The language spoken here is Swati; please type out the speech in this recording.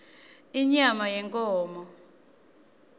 inyama yenkhomo